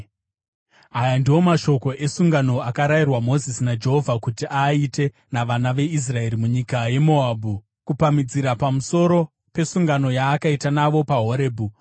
Aya ndiwo mashoko esungano akarayirwa Mozisi naJehovha kuti aaite navana veIsraeri munyika yeMoabhu, kupamhidzira pamusoro pesungano yaakaita navo paHorebhi.